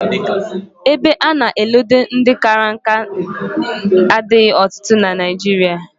Ebe a na-eledo ndị kara nka adịghị ọtụtụ na Naịjirịa